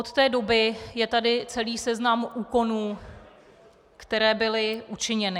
Od té doby je tady celý seznam úkonů, které byly učiněny.